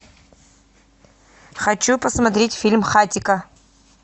хочу посмотреть фильм хатико